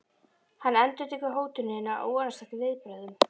Hann endurtekur hótunina og vonast eftir viðbrögðum.